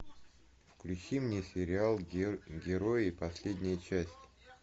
включи мне сериал герои последняя часть